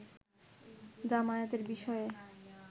জামায়াতের বিষয়ে